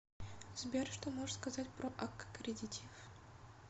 сбер что можешь сказать про аккредитив